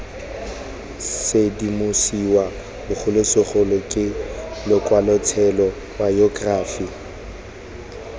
sedimosiwa bogolosegolo ke lokwalotshelo bayokerafi